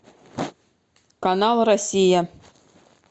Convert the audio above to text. канал россия